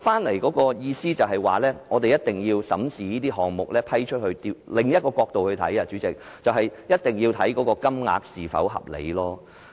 我收到的意見是，政府必須審視批出的項目，而從另一個角度來看，就是必須研究撥款金額是否合理。